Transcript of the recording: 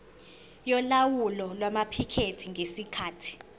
yolawulo lwamaphikethi ngesikhathi